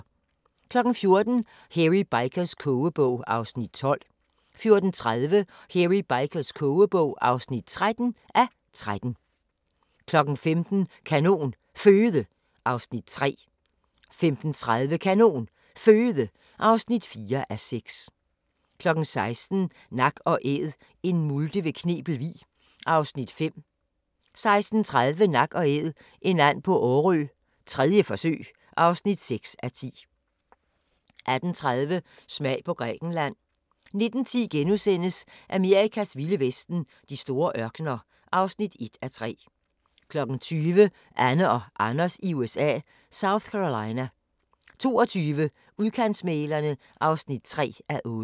14:00: Hairy Bikers kogebog (12:13) 14:30: Hairy Bikers kogebog (13:13) 15:00: Kanon Føde (3:6) 15:30: Kanon Føde (4:6) 16:00: Nak & Æd – en multe ved Knebel Vig (5:10) 16:30: Nak & Æd – en and på Årø 3. forsøg (6:10) 18:30: Smag på Grækenland 19:10: Amerikas vilde vesten: De store ørkener (1:3)* 20:00: Anne og Anders i USA – South Carolina 22:00: Udkantsmæglerne (3:8)